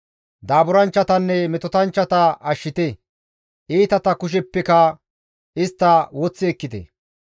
Daaburanchchatanne metotanchchata ashshite; iitata kusheppeka istta woththi ekkite.